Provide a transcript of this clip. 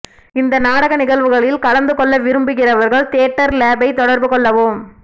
இந்த நாடகநிகழ்வில் கலந்து கொள்ள விரும்புகிறவர்கள் தியேட்டர் லேப்பைத் தொடர்பு கொள்ளவும்